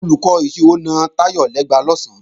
Olùkọ́ ìṣirò na Táyọ̀ lẹ́gba lọ̀sán